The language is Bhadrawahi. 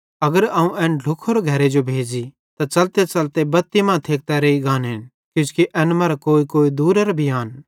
अगर अवं एन ढ्लुख्खोरे घरे जो भेज़ी त च़लतेच़लते बत्ती मां थेकतां रेइ गानेन किजोकि एन मरां कोईकोई दूरेरां भी आन